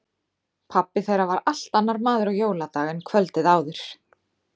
Pabbi þeirra var allt annar maður á jóladag en kvöldið áður.